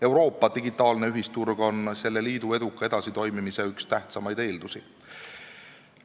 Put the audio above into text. Euroopa digitaalne ühisturg on selle liidu eduka edasitoimimise tähtsaimaid eeldusi.